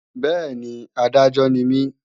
Bẹ́ẹ̀ni, Adájọ́ ni mí